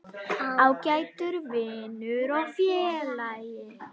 Ágæti vinur og félagi.